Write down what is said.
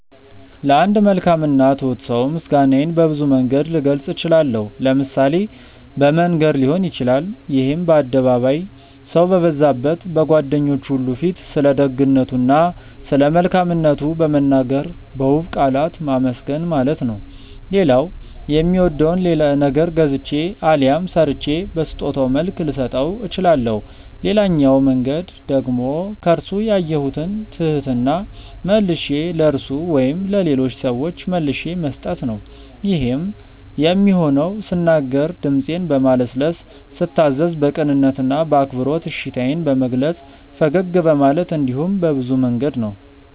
ለአንድ መልካም እና ትሁት ሰው ምስጋናዬን በብዙ መንገድ ልገልጽ እችላለሁ። ለምሳሌ በመንገር ሊሆን ይችላል ይሄም በአደባባይ፣ ሰው በበዛበት፣ በጓደኞቹ ሁሉ ፊት ስለደግነቱ እና ስለመልካምነቱ በመናገር በውብ ቃላት ማመስገን ማለት ነው። ሌላው የሚወደውን ነገር ገዝቼ አሊያም ሰርቼ በስጦታ መልክ ልሰጠው እችላለሁ። ሌላኛው መንገድ ደግሞ ከርሱ ያየሁትን ትህትና መልሼ ለርሱ ወይም ለሌሎች ሰዎች መልሼ መስጠት ነው። ይሄም የሚሆነው ስናገር ድምጼን በማለስለስ፤ ስታዘዝ በቅንነት እና በአክብሮት እሺታዬን በመግለጽ፤ ፈገግ በማለት እንዲሁም በብዙ መንገድ ነው።